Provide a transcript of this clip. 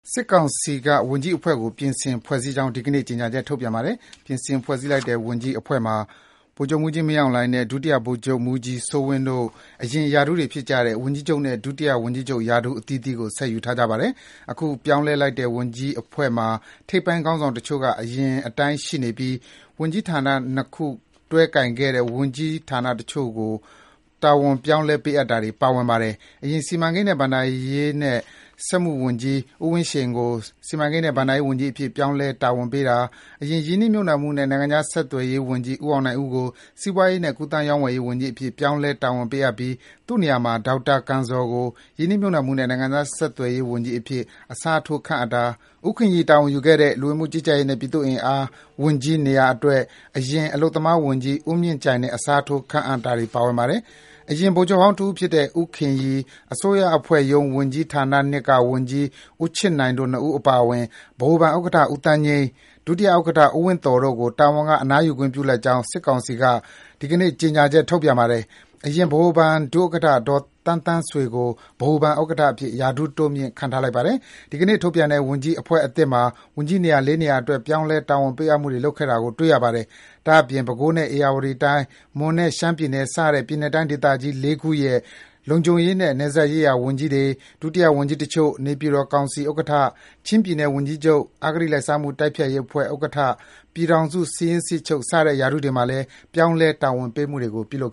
စစ်ကောင်စီက ဝန်ကြီးအဖွဲ့ကို ပြင်ဆင်ဖွဲ့စည်းကြောင်း ဒီကနေ့ ကြေညာချက်ထုတ်ပြန်ပါတယ်။ ပြင်ဆင်ဖွဲ့စည်းလိုက်တဲ့ ဝန်ကြီးအဖွဲ့မှာ ဗိုလ်ချုပ်မှူးကြီး မင်းအောင်လှိုင်နဲ့ ဒုတိယ ဗိုလ်ချုပ်မှူးကြီး စိုးဝင်းတို့ အရင်အတိုင်း ဝန်ကြီးချုပ်နဲ့ ဒုတိယဝန်ကြီးချုပ် ရာထူးအသီးသီးကို ဆက်ယူထားပါတယ်။ အခုအသစ်ပြောင်းလဲလိုက်တဲ့ ဝန်ကြီးအဖွဲ့မှာ ထိပ်ပိုင်းခေါင်းဆောင်တချို့က အရင်အတိုင်းရှိနေပြီး ဝန်ကြီးဌာန ၂ ခု တွဲကိုင်ခဲ့တဲ့ဝန်ကြီးတချို့ကို ဌာနတခုတည်း ပြောင်းလဲ တာဝန်ပေးအပ်တာတွေ ပါဝင်ပါတယ်။ အရင် စီမံကိန်း၊ ဘဏ္ဍာရေးနဲ့ စက်မှုဝန်ကြီး ဦးဝင်းရှိန်ကို စီမံကိန်းနဲ့ ဘဏ္ဍာရေးဝန်ကြီးအဖြစ် ပြောင်းလဲ တာဝန်ပေးတာ၊ အရင် ရင်းနှီးမြှုပ်နှံမှုနဲ့ နိုင်ငံခြားစီးပွားဆက်သွယ်ရေးဝန်ကြီး ဦးအောင်နိုင်ဦးကို စီးပွားရေးနဲ့ ကူးသန်းရောင်းဝယ်ရေးဝန်ကြီးအဖြစ် ပြောင်းလဲ တာဝန်ပေးအပ်ပြီး သူ့နေရာမှာ ဒေါက်တာ ကံဇော်ကို ရင်းနှီးမြှုပ်နှံမှုနဲ့ နိုင်ငံခြားစီးပွားဆက် သွယ်ရေးဝန်ကြီးအဖြစ် အစားထိုး ခန့်အပ်တာ၊ ဦးခင်ရီတာဝန်ယူခဲ့တဲ့ လူဝင်မှုကြီးကြပ်ရေးနဲ့ ပြည်သူ့အင်အားဝန်ကြီးနေရာအတွက် အရင် အလုပ်သမားဝန်ကြီး ဦးမြင့်ကြိုင်နဲ့ အစားထိုး ခန့်အပ်လိုက်ပါတယ်။ အရင် ဗိုလ်ချုပ်ဟောင်းတဦးဖြစ်တဲ့ ဦးခင်ရီ၊ အစိုးရအဖွဲ့ရုံးဝန်ကြီးဌာန (၂) က ဝန်ကြီး ဦးချစ်နိုင်တို့ဝန်ကြီး ၂ ဦးအပါအဝင် ဗဟိုဘဏ်ဥက္ကဋ္ဌ ဦးသန်းငြိမ်း၊ ဒုတိယဥက္ကဋ္ဌ ဦးဝင်းသော်တို့ကို တာဝန်မှအနားယူခွင့်ပြုလိုက်ကြောင်းလည်း စစ်ကောင်စီက ဒီကနေ့ ကြေညာချက်ထုတ်ပြန်ပါတယ်။ အရင် ဗဟိုဘဏ်ဒုဥက္ကဋ္ဌ ဒေါ်သန်းသန်းဆွေကို ဗဟိုဘဏ်ဥက္ကဋ္ဌအဖြစ် ရာထူးတိုးမြှင့်ခန့်ထားလိုက်ပါတယ်။ ဒီကနေ့ထုတ်ပြန်တဲ့ ဝန်ကြီးအဖွဲ့အသစ်မှာ ဝန်ကြီးနေရာ ၄ ရာအတွက် ပြောင်းလဲ တာဝန်ပေးအပ်မှုတွေ ပြုလုပ်ခဲ့တာကို တွေ့ရပါတယ်။ ဒါ့အပြင် ပဲခူးနဲ့ ဧရာဝတီတိုင်း၊ မွန်နဲ့ရှမ်းပြည်နယ် စတဲ့ ပြည်နယ်နဲ့တိုင်း ဒေသကြီး ၄ ခုရဲ့ လုံခြုံရေးနဲ့ နယ်စပ်ရေးရာ ဝန်ကြီးတွေ၊ ဒုတိယဝန်ကြီးတချို့၊ နေပြည်တော်ကောင်စီဥက္ကဋ္ဌ၊ ချင်းပြည်နယ်ဝန်ကြီးချုပ်၊ အဂတိလိုက်စားမှုတိုက်ဖျက်ရေးအဖွဲ့ဥက္ကဋ္ဌ၊ ပြည်ထောင်စု စာရင်းစစ်ချုပ် စတဲ့ ရာထူးတွေမှာလည်း ပြောင်းလဲ တာဝန်ပေးမှုတွေ ပြုလုပ်